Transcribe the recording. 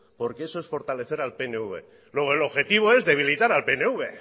porque eso es fortalecer al pnv luego el objetivo es debilitar al pnv